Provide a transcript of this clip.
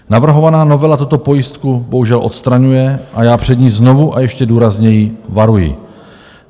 Navrhovaná novela tuto pojistku bohužel odstraňuje a já před ní znovu a ještě důrazněji varuji.